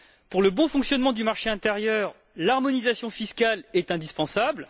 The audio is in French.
Pour le bon fonctionnement du marché intérieur, l'harmonisation fiscale est indispensable.